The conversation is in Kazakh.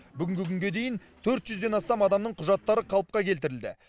бүгінгі күнге дейін төрт жүзден астам адамның құжаттары қалыпқа келтірілді